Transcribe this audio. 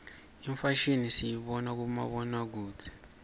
imfashimi siyibona kubomabonakudze